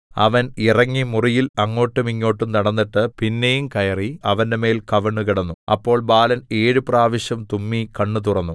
അവൻ ഇറങ്ങി മുറിയിൽ അങ്ങോട്ടും ഇങ്ങോട്ടും നടന്നിട്ട് പിന്നെയും കയറി അവന്റെമേൽ കവിണ്ണുകിടന്നു അപ്പോൾ ബാലൻ ഏഴു പ്രാവശ്യം തുമ്മി കണ്ണ് തുറന്നു